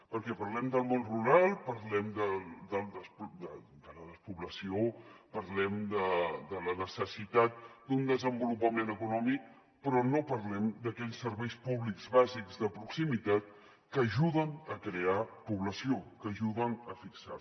perquè parlem del món rural parlem de la despoblació parlem de la necessitat d’un desenvolupament econòmic però no parlem d’aquells serveis públics bàsics de proximitat que ajuden a crear població que ajuden a fixar la